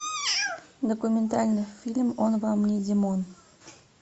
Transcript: документальный фильм он вам не димон